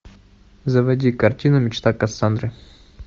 заводи картину мечта кассандры